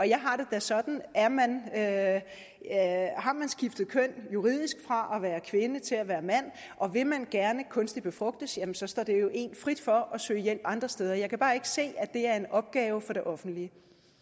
jeg har det da sådan at har man skiftet køn juridisk fra at være kvinde til at være mand og vil man gerne befrugtes kunstigt står det jo en frit for at søge hjælp andre steder jeg kan bare ikke se at det er en opgave for det offentlige